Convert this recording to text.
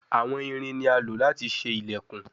Awọn irin ni a lo lati ṣe ilẹkun